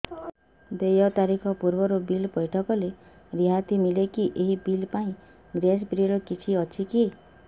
ଦେୟ ତାରିଖ ପୂର୍ବରୁ ବିଲ୍ ପୈଠ କଲେ ରିହାତି ମିଲେକି ଏହି ବିଲ୍ ପାଇଁ ଗ୍ରେସ୍ ପିରିୟଡ଼ କିଛି ଅଛିକି